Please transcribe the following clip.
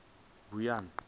guyuni